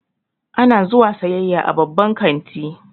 Ana zuwa sayayya a babban kanti